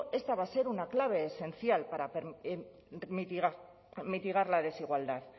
esta va a ser una clave esencial para mitigar la desigualdad